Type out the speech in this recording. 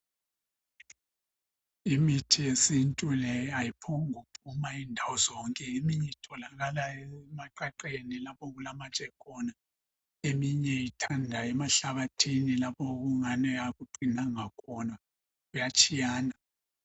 Imithi yesintu le ayiphongu phuma indawo zonke . Eminye itholakala emaqaqeni lapho okulamatshe khona. Eminye ithanda emahlabathini lapho okungani akuqinanga khona, kuyatshiyana.